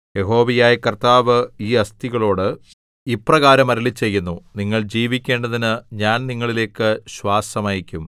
യഹോവയായ കർത്താവ് ഈ അസ്ഥികളോട് ഇപ്രകാരം അരുളിച്ചെയ്യുന്നു നിങ്ങൾ ജീവിക്കേണ്ടതിന് ഞാൻ നിങ്ങളിലേക്ക് ശ്വാസം അയയ്ക്കും